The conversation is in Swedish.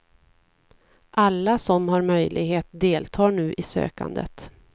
Alla som har möjlighet deltar nu i sökandet.